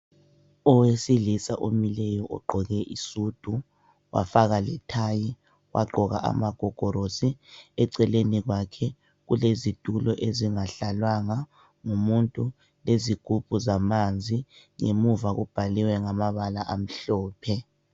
Oweilisa omileyo ogqoke isudu wafaka lethayi, wagqoka amagogorosi, eceleni kwakhe kulezitulo ezingahlalwanga ngumuntu, lezigubhu zamanzi. Ngemuva kubhaliwe ngamabala amhlophe.